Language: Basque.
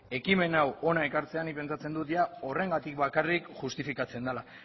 ekimen hau hona ekartzea nik pentsatzen dut horrengatik bakarrik justifikatzen dela